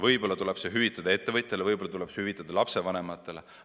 Võib-olla tuleb see hüvitada ettevõtjatele, võib-olla tuleb see hüvitada lapsevanematele.